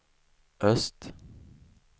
öst